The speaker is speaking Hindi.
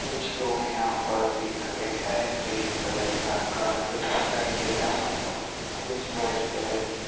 कुछ लोग यहां पर दिख रहे है ग्रीन कलर का कार्पेट दिखाई दे रहा है कुछ व्हाइट कलर की--